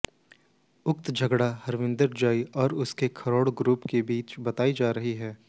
उक्त झगड़ा हरविंदर जौई व एसके खरौड़ ग्रुप के बीच बताई जा रही है